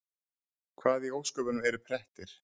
Hvað í ósköpunum eru prettir?